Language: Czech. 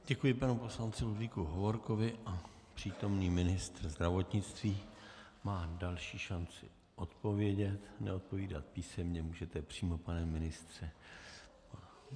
Děkuji panu poslanci Ludvíku Hovorkovi a přítomný ministr zdravotnictví má další šanci odpovědět, neodpovídat písemně, můžete přímo, pane ministře.